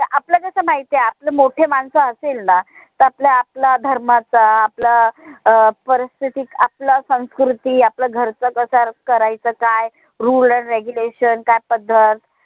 आपलं कस माहिताय आपलं मोठे मानस असेल ना त आपला आपला धर्माचा आपला परिस्थिती आपला संस्कृती आपला घरचा कसा करायचं काय rule and regulation काय पद्धत